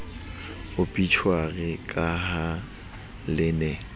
obitjhuari ka ha le ne